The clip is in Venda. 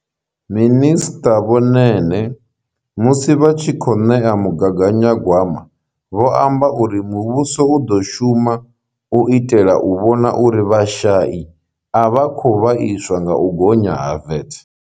Minisṱa vho Nene musi vha tshi khou ṋea mugaganyagwama vho amba uri muvhuso u ḓo shuma u itela u vhona uri vhashai a vha khou vhaiswa nga u gonya ha VAT.